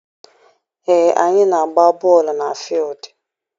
Ee, anyị na-agba bọọlụ na fuildi.